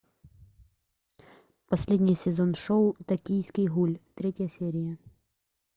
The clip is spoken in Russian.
последний сезон шоу токийский гуль третья серия